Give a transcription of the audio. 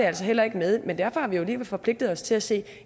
altså heller ikke med men derfor har vi jo alligevel forpligtet os til at se